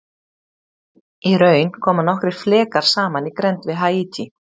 Í raun koma nokkrir flekar saman í grennd við Haítí.